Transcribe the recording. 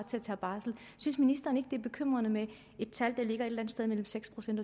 tage barsel synes ministeren ikke at det er bekymrende med et tal der ligger et eller andet sted mellem seks procent